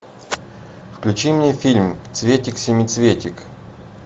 включи мне фильм цветик семицветик